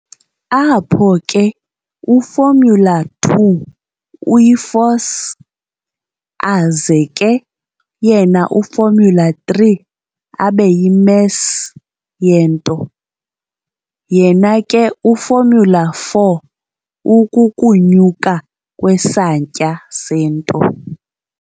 Apho ke u-formula_2 uyi-force, aze ke yena u-formula_3 abe yi-mass yento, yena ke u-formula_4 ukukunyuka kwesantya sento.